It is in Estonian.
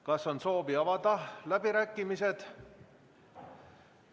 Kas on soovi avada läbirääkimised?